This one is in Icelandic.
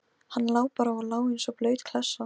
Hann lá bara og lá eins og blaut klessa.